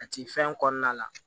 A ti fɛn kɔnɔna la